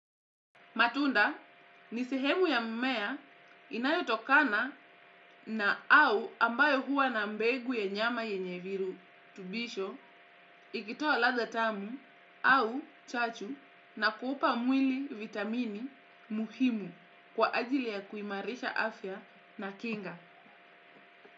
Matunda, ni sehemu ya mmea inayotokana na au ambayo huwa na mbegu ya nyama yenye virutubisho ikitoa ladha tamu au chachu na kuupa mwili vitamini muhimu kwa ajili ya kuimarisha afya na kinga.